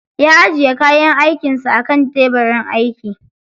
Ya ajiye kayan aikin sa akan tebirin aiki.